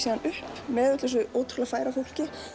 upp með öllu þessu ótrúlega færa fólki